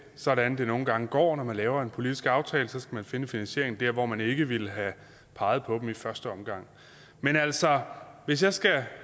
sådan det nogle gange går når man laver en politisk aftale så skal man finde finansieringen der hvor man ikke ville have peget på den i første omgang men altså hvis jeg skal